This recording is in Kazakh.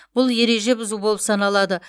бұл ереже бұзу болып саналады